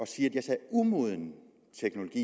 sige at jeg sagde umoden teknologi